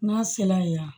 N'a sela yan